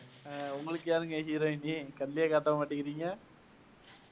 உங்களுக்கு யாருங்க heroine கண்ணுலேயே காட்டமாட்டேங்கறீங்க